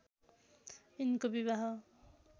यिनको विवाह